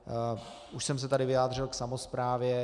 Už jsem se tady vyjádřil k samosprávě.